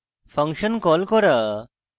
function call করা